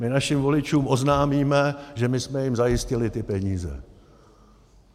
My našim voličům oznámíme, že my jsme jim zajistili ty peníze.